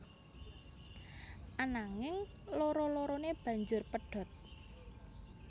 Ananging loro lorone banjur pedhot